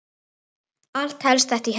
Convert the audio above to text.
Allt helst þetta í hendur.